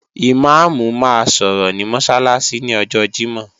Ìmáàmù máa sọ̀rọ̀ ní Mọ́sálásí ní ọjọ Jímọ̀.